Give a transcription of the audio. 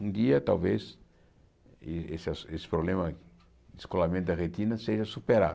Um dia talvez eh esse assu esse problema de descolamento da retina seja superado.